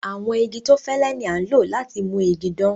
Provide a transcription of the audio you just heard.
Àwọn igi tó fẹ́lẹ̀ ni a ń lọ láti mú ìgi dán.